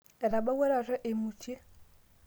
etabawua taata eimutie